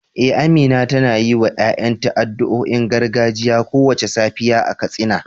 Eh, Amina tana yiwa ‘ya’yanta addu’o’in gargajiya kowace safiya a Katsina.